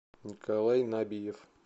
николай набиев